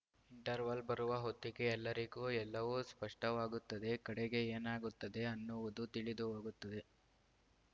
interval ಬರುವ ಹೊತ್ತಿಗೆ ಎಲ್ಲರಿಗೂ ಎಲ್ಲವೂ ಸ್ಪಷ್ಟವಾಗುತ್ತದೆ ಕಡೆಗೆ ಏನಾಗುತ್ತದೆ ಅನ್ನುವುದೂ ತಿಳಿದುಹೋಗುತ್ತದೆ